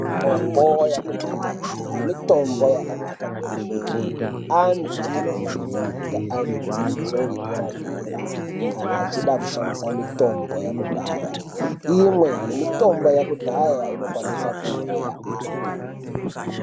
Mitombo yakudhaya mitombo yakanaka kwemene anthu anofanira kunge aine dzidzo yedera dera kana achida kushandisa mitombo yakudhaya imwe yemitombo yekudhaya inokwanisa kuuraya anthu.